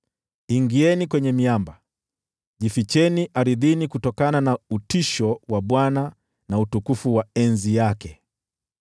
Ingieni kwenye miamba, jificheni ardhini kutokana na utisho wa Bwana na utukufu wa enzi yake!